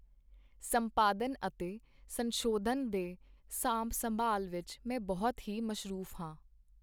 ਸੰਪਾਦਨ ਅਤੇ ਸੰਸ਼ੋਧਨਾਂ ਦੇ ਸਾਂਭ ਸੰਭਾਲ਼ ਵਿੱਚ ਮੈਂ ਬਹੁਤ ਹੀ ਮਸਰੂਫ਼ ਹਾਂ।